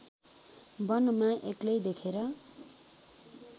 वनमा एक्लै देखेर